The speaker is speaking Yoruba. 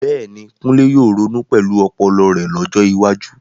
Bẹ́ẹ̀ni, Kunle yóò ronú pẹ̀lú ọpọlọ rẹ̀ lọ́jọ́ iwájú.